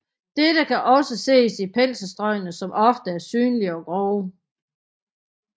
Dette kan også ses i penselstrøgene som ofte er synlige og grove